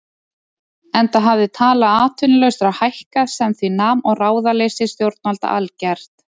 Enda hafði tala atvinnulausra hækkað sem því nam og ráðaleysi stjórnvalda algert.